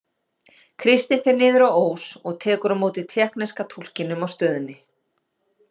Kristín fer niður á Ós og tekur á móti tékkneska túlkinum á stöðinni.